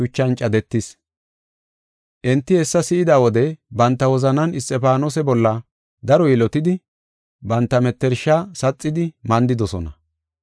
Enti hessa si7ida wode banta wozanan Isxifaanose bolla daro yilotidi, banta mettersha saxidi mandidosona.